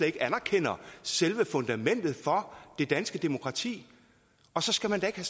ikke anerkender selve fundamentet for det danske demokrati og så skal man da ikke